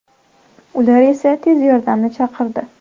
Ular esa tez yordamni chaqirdi.